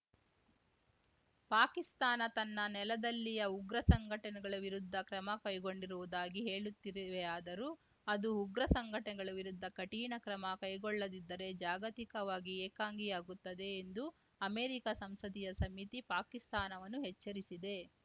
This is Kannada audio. ಪಾಕಿಸ್ತಾನ ತನ್ನ ನೆಲದಲ್ಲಿಯ ಉಗ್ರಸಂಘಟನೆಗಳ ವಿರುದ್ಧ ಕ್ರಮ ಕೈಗೊಂಡಿರುವುದಾಗಿ ಹೇಳುತ್ತಿರುವೆಯಾದರೂ ಅದು ಉಗ್ರ ಸಂಘಟನೆಗಳ ವಿರುದ್ಧ ಕಠಿಣ ಕ್ರಮ ಕೈಗೊಳ್ಳದಿದ್ದರೆ ಜಾಗತಿಕವಾಗಿ ಏಕಾಂಗಿಯಾಗುತ್ತದೆ ಎಂದು ಅಮೆರಿಕಾ ಸಂಸದೀಯ ಸಮಿತಿ ಪಾಕಿಸ್ತಾನವನ್ನು ಎಚ್ಚರಿಸಿದೆ